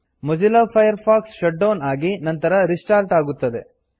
Mozilla Firefox shut down ಆಗಿ ನಂತರ restart ಆಗುತ್ತದೆ